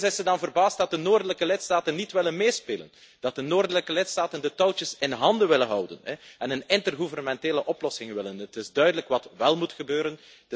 En opeens is ze dan verbaasd dat de noordelijke lidstaten niet willen meespelen, dat de noordelijke lidstaten de touwtjes in handen willen houden en een intergouvernementele oplossing willen. Het is duidelijk wat wél moet gebeuren.